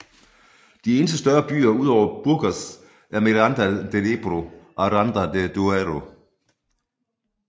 De eneste større byer ud over Burgos er Miranda de Ebro og Aranda de Duero